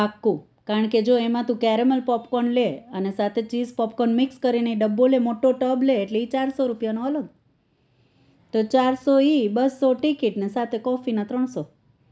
પાક્કું કારણકે જો એમાં તો ત્યારે caramel popcorn લે અને સાથે cheese popcorn કરીને ડબ્બો લે મોટો તબ લે એટલે એ ચારસો રૂપિયાનો અલગ એ ચારસો એ બસ્સો ticket અને સાથે coffee ના ત્રણસો